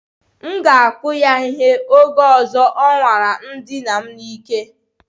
M ga-akụ ya ihe, oge ọzọ ọ nwara idina m n'ike